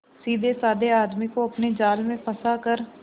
सीधेसाधे आदमी को अपने जाल में फंसा कर